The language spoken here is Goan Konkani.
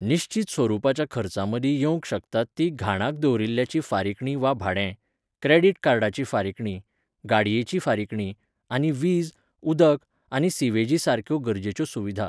निश्चीत स्वरुपाच्या खर्चामदीं येवंक शकतात ती घाणाक दवरिल्ल्याची फारीकणी वा भाडें, क्रॅडिट कार्डाची फारीकणी, गाडयेची फारीकणी, आनी वीज, उदक आनी सिवेजी सारक्यो गरजेच्यो सुविधा.